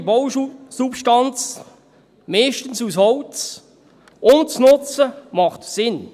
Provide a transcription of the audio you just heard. Eine bestehende Bausubstanz – meist aus Holz – umzusetzen, macht Sinn.